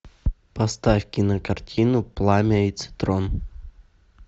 поставь кинокартину пламя и цитрон